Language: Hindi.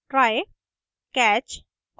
try catch